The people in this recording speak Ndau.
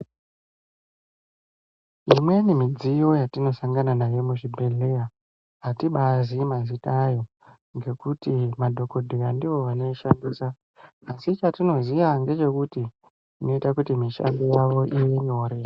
Imweni midziyo yatinosangana nayo muzvibhedhlera atibazii mazita awo ngekuti madhokodheya ndiwo anoshandisa asi chatinoziva ndechekuti inoita kuti mishando yavo ive nyore.